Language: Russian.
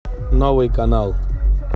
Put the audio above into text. новый канал